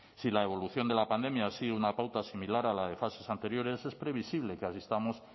si la evolución de la pandemia ha sido una pauta similar a la de fases anteriores es previsible que asistamos